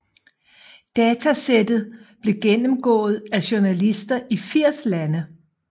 Datasættet blev gennemgået af journalister i 80 lande